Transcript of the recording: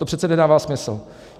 To přece nedává smysl.